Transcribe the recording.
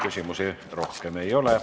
Küsimusi rohkem ei ole.